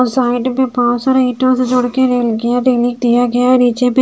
side में बांस और ईंटों से जोड़कर किया गया नीचे में--